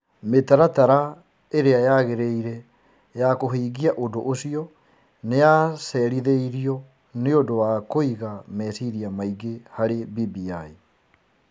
Mĩtaratara ĩrĩa yagĩrĩire ya kũhingia ũndũ ũcio nĩ yacerĩthirio nĩ ũndũ wa kũiga meciria maingĩ harĩ BBI.